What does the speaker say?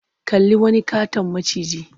Kalli wani ƙaton maciji.